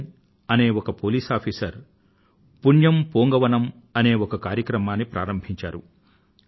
విజయన్ అనే ఒక police officer Punyam Poonkavanam అనే ఒక కార్యక్రమాన్ని ప్రారంభించాడు